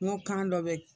N ko kan dɔ bɛ